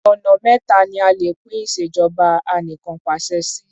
Ọ̀nà méta ni a lè pín ìṣèjọba anìkanpàṣẹ sí.